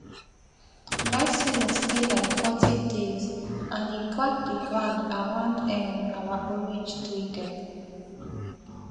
dry season stay like forty days and e crack the ground around um our orange tree dem